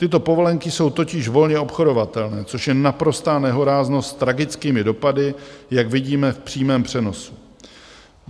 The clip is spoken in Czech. Tyto povolenky jsou totiž volně obchodovatelné, což je naprostá nehoráznost s tragickými dopady, jak vidíme v přímém přenosu.